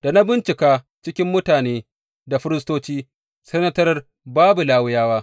Da na bincika cikin mutane da firistoci, sai na tarar babu Lawiyawa.